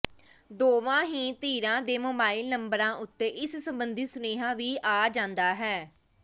ਦੋਵਾਂ ਹੀ ਧਿਰਾਂ ਦੇ ਮੋਬਾਈਲ ਨੰਬਰਾਂ ਉੱਤੇ ਇਸ ਸੰਬੰਧੀ ਸੁਨੇਹਾ ਵੀ ਆ ਜਾਂਦਾ ਹੈ